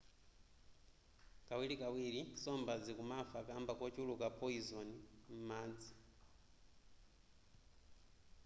kawirikawiri nsomba zikumafa kamba kochuluka poizoni m'madzi